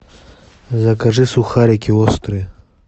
закажи сухарики острые